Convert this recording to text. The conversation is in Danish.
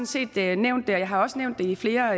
set nævnt det og jeg har også nævnt det i flere